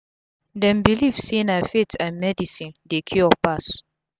dem believe say na faith and medicine dey cure pass